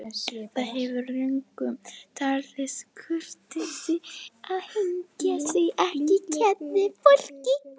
Það hefur löngum talist kurteisi að hneigja sig fyrir kvenfólki.